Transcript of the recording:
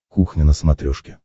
кухня на смотрешке